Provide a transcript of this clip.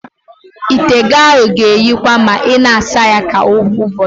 Ite gị ahụ ga-èhíkwa ma ị na-asa ya kwa ụbọchị.